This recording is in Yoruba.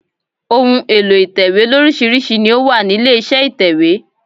Ohun èlò ìtẹ̀wé lóríṣirísi ni ó wà nílé iṣẹ́ ìtẹ̀wẹ́.